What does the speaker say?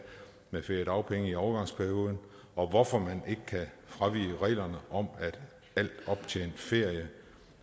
med feriedagpenge i overgangsperioden og hvorfor man ikke kan fravige reglerne om at al optjent ferie